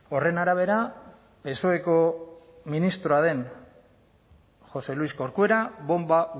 horren arabera psoeko ministroa den josé luis corcuera bonba